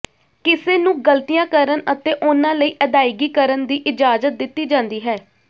ਕਿਸੇ ਨੂੰ ਗ਼ਲਤੀਆਂ ਕਰਨ ਅਤੇ ਉਹਨਾਂ ਲਈ ਅਦਾਇਗੀ ਕਰਨ ਦੀ ਇਜਾਜ਼ਤ ਦਿੱਤੀ ਜਾਂਦੀ ਹੈ